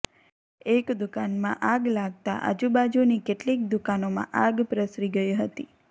એક દુકાનમાં આગ લાગતા આજુબાજુની કેટલીક દુકાનોમાં આગ પ્રસરી ગઈ હતી